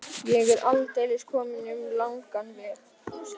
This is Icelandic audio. Ég er aldeilis kominn um langan veg.